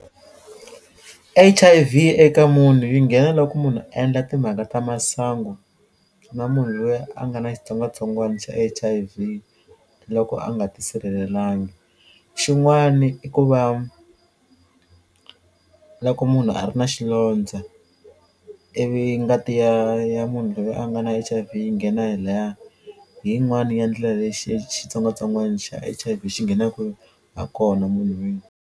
H_I_V eka munhu yi nghena loko munhu a endla timhaka ta masangu na munhu loyi a nga na xitsongwatsongwana xa H_I_V loko a nga ti sirhelelangi, xin'wani i ku va loko munhu a ri na xilondze i vi ngati ya ya munhu loyi a nga na H_I_V yi nghena hi laya hi yin'wana ya ndlela leyi xitsongwatsongwana xa H_I_V xi nghenaku ha kona munhwini.